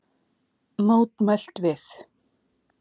Mótmælt við